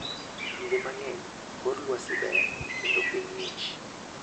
Kinde mang'eny, kor lwasi ber kendo piny ng'ich.